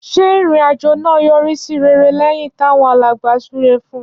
Ṣé ìrìn àjò náà yọrí sí rere lẹ́yìn táwọn alàgbà súre fún un?